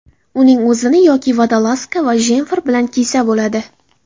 Uning o‘zini yoki vodolazka va jemfer bilan kiysa bo‘ladi.